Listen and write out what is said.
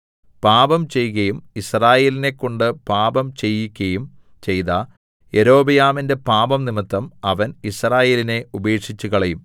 പാപം ചെയ്കയും യിസ്രായേലിനെക്കൊണ്ട് പാപം ചെയ്യിക്കയും ചെയ്ത യൊരോബെയാമിന്റെ പാപംനിമിത്തം അവൻ യിസ്രായേലിനെ ഉപേക്ഷിച്ചുകളയും